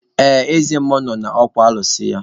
Ee, eze mmụọ nọ n'okwu alụsị ya